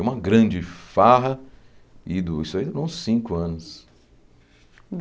É uma grande farra, e du isso aí durou uns cinco anos.